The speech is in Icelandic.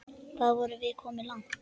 Hvað vorum við komin langt?